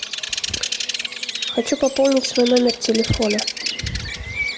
хочу пополнить свой номер телефона